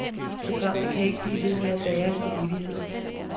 Programmet kan ikke blive ved med at bære i evigheder.